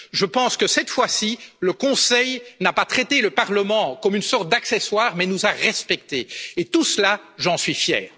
Je pense que, cette fois ci, le Conseil n'a pas traité le Parlement comme une sorte d'accessoire mais nous a respectés. Et tout cela, j'en suis fier.